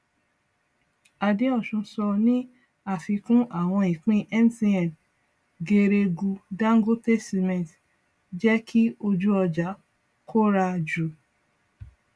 adeosun sọ ní àfikún àwọn ìpín mtn geregu dangote cement jẹ kí ojú ọjà kóra jù